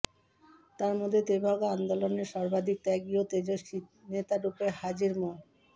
তার মধ্যে তেভাগা আন্দোলনের সর্বাধিক ত্যাগী ও তেজস্বী নেতারূপে হাজী মো